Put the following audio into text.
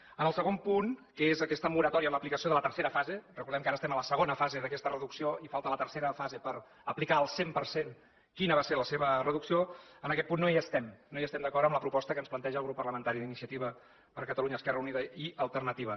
en el segon punt que és aquesta moratòria en l’aplicació de la tercera fase recordem que ara estem a la segona fase d’aquesta reducció i falta la tercera fase per aplicar al cent per cent quina va ser la seva reducció en aquest punt no hi estem no estem d’acord amb la proposta que ens planteja el grup parlamentari d’iniciativa per catalunya esquerra unida i alternativa